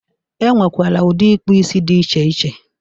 E nwekwere ụdị ịkpụisi dị iche iche.